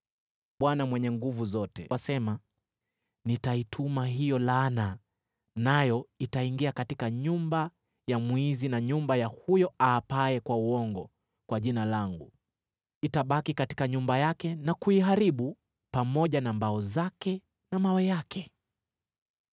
Bwana Mwenye Nguvu Zote asema, ‘Nitaituma hiyo laana, nayo itaingia katika nyumba ya mwizi na nyumba ya huyo aapaye kwa uongo kwa Jina langu. Itabaki katika nyumba yake na kuiharibu, pamoja na mbao zake na mawe yake.’ ”